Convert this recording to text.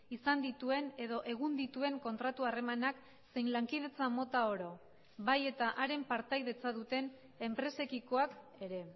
izan dituen edo egun dituen kontratu harremanak zein lankidetza mota oro bai eta haren partaidetza duten enpresekikoak ere